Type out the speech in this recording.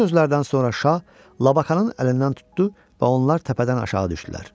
Bu sözlərdən sonra şah Labakanın əlindən tutdu və onlar təpədən aşağı düşdülər.